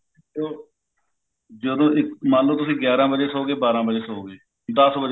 ਜਦੋਂ ਮੰਨਲੋ ਤੁਸੀਂ ਗਿਆਰਾ ਵਜੇ ਸੋਗੇ ਬਾਰਹ ਵੱਜੇ ਸੋ ਗਏ ਦੱਸ ਵਜੇ